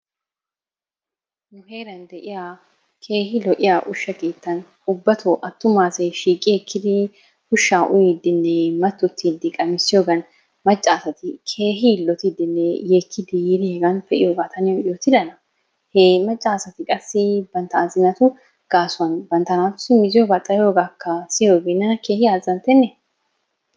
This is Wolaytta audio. nu heeran de'iya keehi lo'iya usha keetan ubatoo attuma asay shiiqi ekkidi ushaa uyiidinne matotidi qammissiyogan macca asati keehi yiilottiidinne yeekiidi yiidi pe'iyogaa ta niyo yoottidana, hee macca asati qassi guutta banta azzinatu gaasuwan banta naatussi mizziyogaa xayiyoogakka siyiyoogee nena keehi azzanttenne.